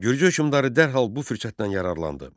Gürcü hökmdarı dərhal bu fürsətdən yararlandı.